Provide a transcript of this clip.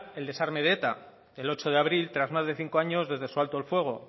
el desarme de eta el ocho de abril tras más de cinco de años desde su alto al fuego